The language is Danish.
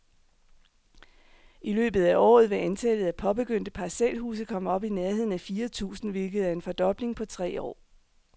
I løbet af året vil antallet af påbegyndte parcelhuse komme op i nærheden af fire tusind, hvilket er en fordobling på tre år.